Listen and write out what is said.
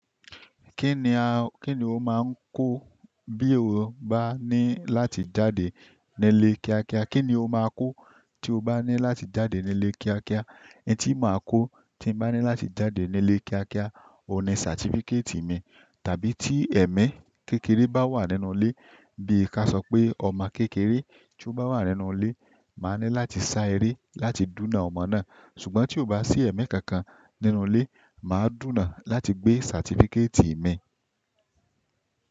Kí ni a, kí ni o máa ń kó bí o bá ní láti jáde nílé kíákíá? Kí ni o máa kó tí o bá ní láti jáde nílé kíákíá? N tí màá kó tí mo bá ní láti jáde nílé kíákíá, òní certificate mi. Tàbí tí ẹ̀mí kékeré bá wà nínú ilé bí ká sọ pé ọmọ kékeré tí ó bá wà nínú ilé, màá ní láti sá eré láti dúnà ọmọ náà. Ṣùgbọ́n tí ò bá sí ẹ̀mí kankan nínú ilé, màá dúnà láti gbé certificate mi.